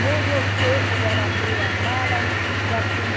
Nem deu tempo dela abrir a mala, já tinha...